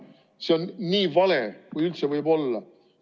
See on nii vale, kui üldse võib olla.